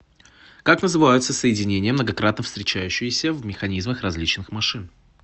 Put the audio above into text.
как называются соединения многократно встречающиеся в механизмах различных машин